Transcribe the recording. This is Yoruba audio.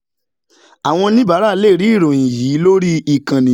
àwọn oníbàárà lè rí ìròyìn yìí lórí ìkànnì yìí